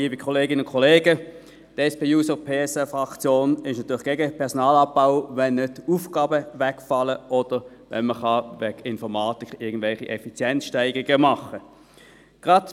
Die SP-JUSO-PSA-Fraktion ist natürlich gegen Personalabbau, wenn nicht Aufgaben wegfallen oder wenn man nicht durch Informatik irgendwelche Effizienzsteigerungen machen kann.